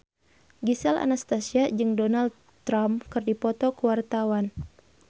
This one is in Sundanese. Gisel Anastasia jeung Donald Trump keur dipoto ku wartawan